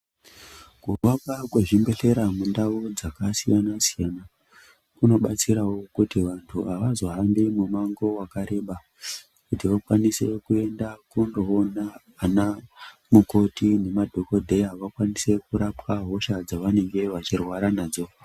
Kuvakwa kwezvibhehleya mundau dzakasiyanasiyana kunobatsirawo kuti vanhu avozohambi mumango wakareba kuti vakwanise kuenda kunoona vanamukoti nanadhokodheya vakwanise kurapwa hosha dzavanenge vachirwara nadzo.